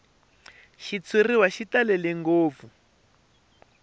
xitshuriwa xi talele ngopfu hi